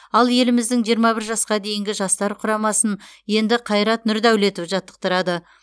ал еліміздің жиырма бір жасқа дейінгі жастар құрамасын енді қайрат нұрдәулетов жаттықтырады